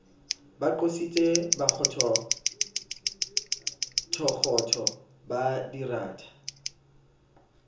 ba qositse bokgothokgotho ba diranta